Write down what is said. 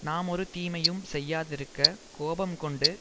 நாம் ஒரு தீமையும் செய்யாதிருக்க கோபம் கொண்டு